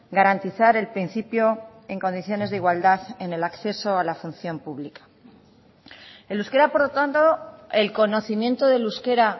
garantizar el principio en condiciones de igualdad en el acceso a la función pública el euskera por lo tanto el conocimiento del euskera